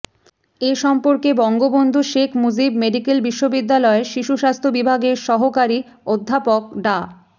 এ সম্পর্কে বঙ্গবন্ধু শেখ মুজিব মেডিক্যাল বিশ্ববিদ্যালয়ের শিশু স্বাস্থ্য বিভাগের সহকারী অধ্যাপক ডা